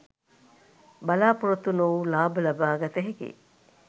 බලා‍පොරොත්තු නොවූ ලාභ ලබාගත හැකි